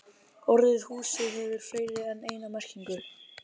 Orðið hús hefur fleiri en eina merkingu.